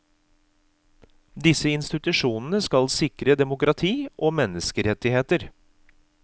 Disse institusjonene skal sikre demokrati og menneskerettigheter.